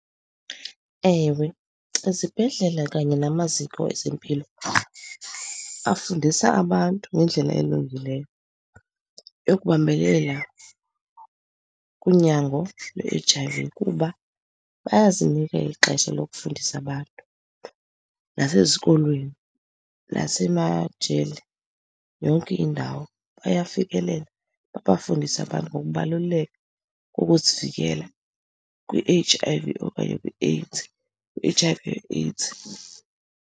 Ewe, izibhedlela kanye namaziko ezempilo afundisa abantu ngendlela elungileyo ekubambelela kunyango lwe-H_I_V, kuba bayazinika ixesha lokufundisa abantu nasezikolweni, nasemajele. Yonke indawo bayafikelela, babafundise abantu ngokubaluleka kokuzivikela kwi-H_I_V okanye kwiAIDS, kwi-H_I_V or AIDS.